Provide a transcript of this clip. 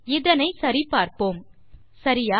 இதனை சரி பார்ப்போம் சரியா